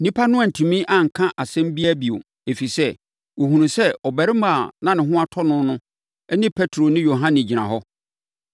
Nnipa no antumi anka asɛm biara bio, ɛfiri sɛ, wɔhunuu sɛ ɔbarima a na ne ho atɔ no no ne Petro ne Yohane gyina hɔ.